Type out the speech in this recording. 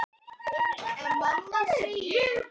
Vinnustöðvun vélstjóra hjá Hafró